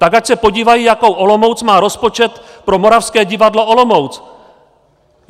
Tak ať se podívají, jakou Olomouc má rozpočet pro Moravské divadlo Olomouc!